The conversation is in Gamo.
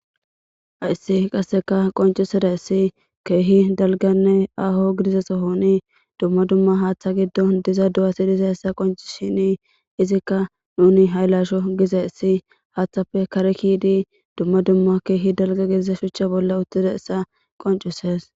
haissi qasseka qoncuseda issi keehi dalganne aaho gidize sohoni dumma dumma haaththa giddon diza du7a si diza hessa qonci shini izikka nuni hay lasho giza issi haaththappe karekidi dumma dumma keehi dalga gidiza shuchcha bolla uttida essa qoncuses